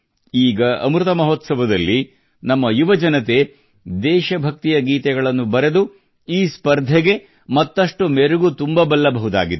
ಈಗ ಅಮೃತ ಮಹೋತ್ಸವದಲ್ಲಿ ನಮ್ಮ ಯುವ ಜನತೆ ದೇಶಭಕ್ತಿಯ ಗೀತೆಗಳನ್ನು ಬರೆದು ಈ ಸ್ಪರ್ಧೆಗೆ ಮತ್ತಷ್ಟು ಮೆರುಗು ತುಂಬಬಲ್ಲಬಹುದಾಗಿದೆ